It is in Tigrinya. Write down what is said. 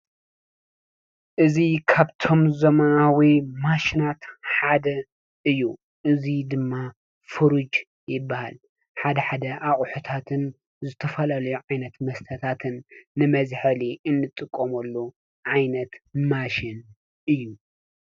እዚ ካብቶም ዘመናዊ ማሽናት ሓደ እዩ። እዙይ ድማ ሕሩጭ ይበሃል ።ሓደሓደ ኣቁሑታትን ዝተፈላለዩ ዓይነታት መስተታት ንመዝሐሊ እንጥቀመሉ ዓይነት ማሽን እዩ፡፡